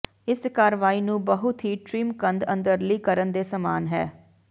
ਇਸ ਕਾਰਵਾਈ ਨੂੰ ਬਹੁਤ ਹੀ ਟ੍ਰਿਮ ਕੰਧ ਅੰਦਰਲੀ ਕਰਨ ਦੇ ਸਮਾਨ ਹੈ